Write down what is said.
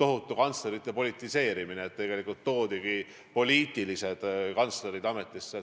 tohutu kantslerite politiseerimine, tegelikult pandigi poliitilised kantslerid ametisse.